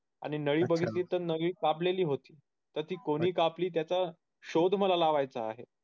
आणि नळी बघितली तर नळी कापलेली होती तर ती कोणी केली त्याचा शोध मला लावायचा आहे